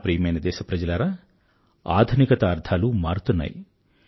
నా ప్రియమైన దేశప్రజలారా ఆధునికత అర్థాలు మారుతున్నాయి